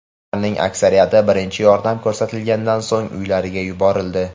Ularning aksariyati birinchi yordam ko‘rsatilganidan so‘ng uylariga yuborildi.